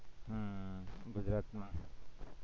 ગુજરાતમાં